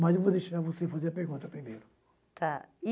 Mas eu vou deixar você fazer a pergunta primeiro. Tá e